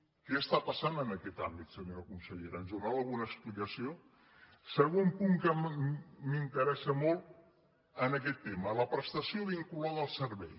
què està passant en aquest àmbit se·nyora consellera ens en donarà alguna explicació segon punt que m’interessa molt en aquest tema la prestació vinculada al servei